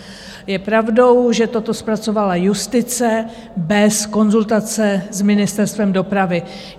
Je pravdou, že toto zpracovala justice bez konzultace s Ministerstvem dopravy.